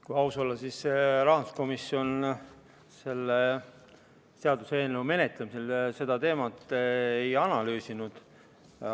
Kui aus olla, siis rahanduskomisjon selle seaduseelnõu menetlemisel seda teemat ei analüüsinud.